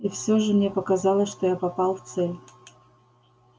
и все же мне показалось что я попал в цель